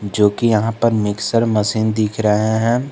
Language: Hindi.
जो कि यहां पर मिक्सर मशीन दिख रहे हैं।